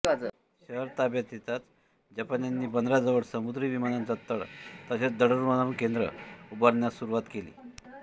शहर ताब्यात येताच जपान्यांनी बंदराजवळ समुद्री विमानांचा तळ तसेच दळणवळण केंद्र उभारण्यास सुरूवात केली